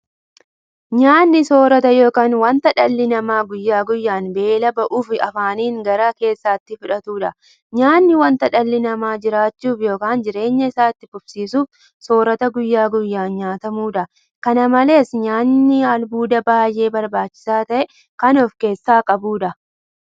Nyaanni soorota yookiin wanta dhalli namaa guyyaa guyyaan beela ba'uuf afaaniin gara keessaatti fudhatudha. Nyaanni wanta dhalli namaa jiraachuuf yookiin jireenya isaa itti fufsiisuuf soorata guyyaa guyyaan nyaatamudha. Kana malees nyaanni albuuda baay'ee barbaachisaa ta'e kan ofkeessaa qabudha.